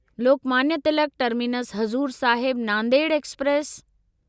Lokmanya Tilak terminus Hazur Sahib Nanded express